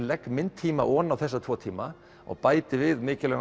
legg minn tíma ofan á þessa tvo tíma og bæti við mikilvægum